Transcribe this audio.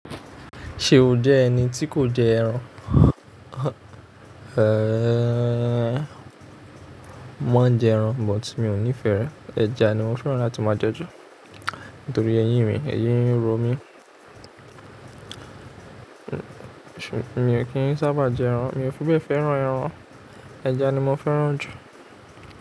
Ṣe o jẹ ẹni ti kò jẹ ẹran? Mọ ń jẹ ẹran, but mi ò nífẹ̀ẹ́ rẹ̀. Ẹja ni mo fẹ́ràn láti máa jẹ jù nítorí ẹyin mì, ẹyin mi ro mí. Mi ò kí ń sábà jẹ ẹran, mi ò fi bẹ́ẹ̀ fẹ́ràn ẹran. Ẹja ni mo fẹ́ràn jù.